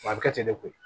A bɛ kɛ ten de koyi